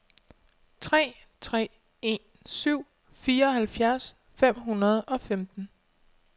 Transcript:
tre tre en syv fireoghalvfjerds fem hundrede og femten